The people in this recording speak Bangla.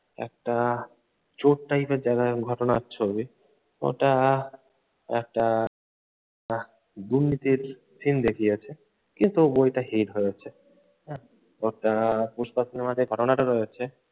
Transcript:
একটা চোর type এর দেখায় ঘটনার ছবি। ওটা একটা আহ দুর্নীতির scene দেখিয়েছে, কিন্তু বইটা হিট হয়েছে। হ্যাঁ পুস্পা সিনেমাটায় যে ঘটনাটা রয়েছে